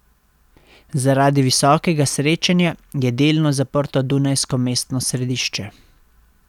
Zaradi visokega srečanja je delno zaprto dunajsko mestno središče.